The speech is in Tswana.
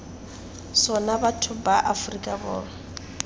sona batho ba aforika borwa